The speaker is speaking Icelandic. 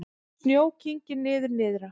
Snjó kyngir niður nyrðra